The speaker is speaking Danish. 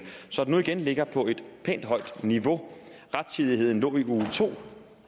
så den nu igen ligger på et pænt højt niveau rettidigheden lå i uge to